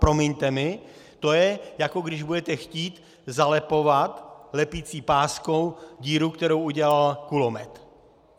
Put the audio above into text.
Promiňte mi, to je, jako když budete chtít zalepovat lepicí páskou díru, kterou udělal kulomet.